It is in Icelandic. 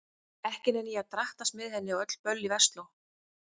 Ekki nenni ég að drattast með henni á öll böllin í Versló.